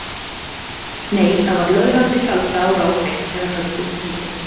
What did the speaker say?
Nei það var löðrandi salsa á rás eitt þegar höggið dundi.